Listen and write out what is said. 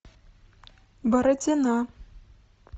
бородина